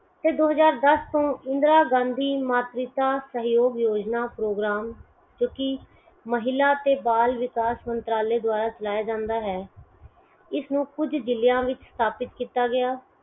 ਫਿਰ ਦੋ ਹਜਾਰ ਦਸ ਤੋਂ ਇੰਦਰਾ ਗਾਂਧੀ ਮਾਤ੍ਰੀਤਵ ਯੋਜਨਾ program ਜੋ ਕੀ ਮਹਿਲਾ ਤੇ ਬਾਲ ਵਿਕਾਸ ਮੰਤਰਾਲੇ ਦਵਾਰਾ ਚਲਾਇਆ ਜਾਂਦਾ ਹੈ ਇਸ ਨੂੰ ਕੁਝ ਜ਼ਿਲਿਆਂ ਵਿੱਚ ਸਥਾਪਿਤ ਕੀਤਾ ਗਆ